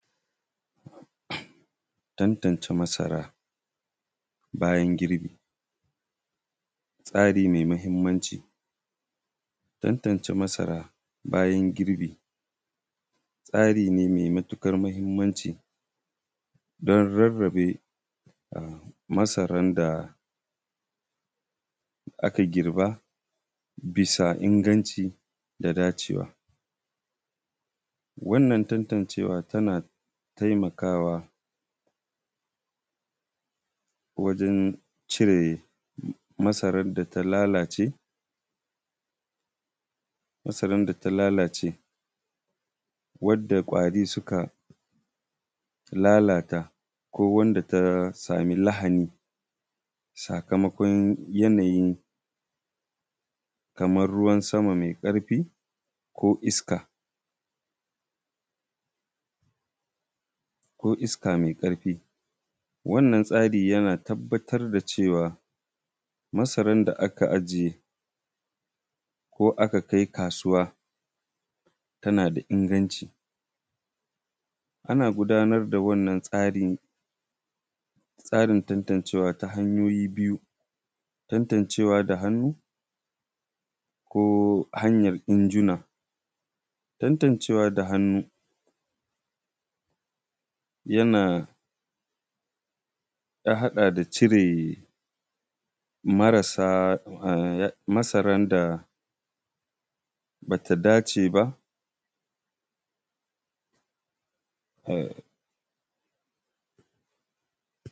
Tantance masara yayin girbi tsari mai mahimmanci. Tantance masara yayin girbi tsari ne mai matuƙar muhimmanci don rarrabe masaran da aka girba bisa inganci da dacewa. Wannan tantance wa tana taimakawa wajan cire masaran da ta lalace, wanda ƙwari suka lalata, ko wanda ta samu lahani sakamakon yanayi kamar ruwan sama mai ƙarfi, ko iska mai karfin. Wannan tsari yana tabbatar da cewa masaran da aka ajiye ko aka kai kasuwa tana da inganci. Ana gudanar da wannan tsarin tantancewa ta hanyoyi biyu. Tantancewa da hannu ko ta haryar injunan. Tantancewa da hannu ya hada da cire masaran da ba ta dace ba.